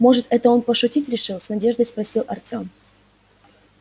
может это он пошутить решил с надеждой спросил артём